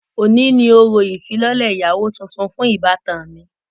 Oni ni orȯ ifilọlẹ iyawo tùntùn fun ibatan mi.